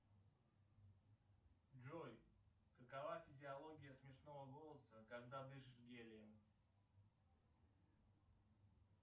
джой какова физиология смешного голоса когда дышишь гелием